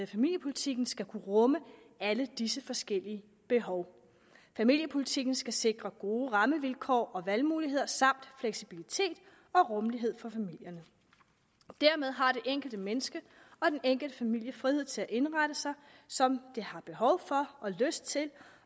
familiepolitikken skal kunne rumme alle disse forskellige behov familiepolitikken skal sikre gode rammevilkår og valgmuligheder samt fleksibilitet og rummelighed for familierne dermed har det enkelte menneske og de enkelte familier frihed til at indrette sig som de har behov for og lyst til